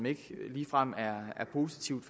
ikke ligefrem er positivt